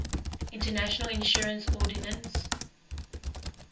international insurance ordinance